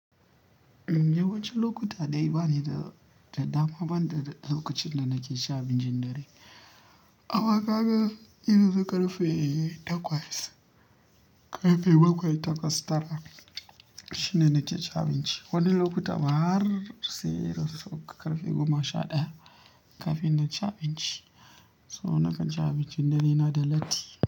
Yawancin lokuta dai bani da, da dama ban da lokacin da nake sha abincin dare. Awa ka ga irin su ƙarfe takwas, ƙarfe bakwai, takwas, tara. Shine nake cin abinci. Wani lokuta ma har sai ƙarfe goma sha ɗaya kafin na ci abinci. So na kan ci abincin dare na da latti.